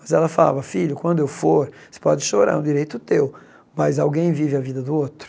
Mas ela falava, filho, quando eu for, você pode chorar, é um direito teu, mas alguém vive a vida do outro.